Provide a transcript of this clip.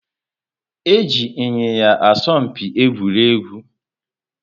Eji Ịnyịnya asọ mpi egwuregwu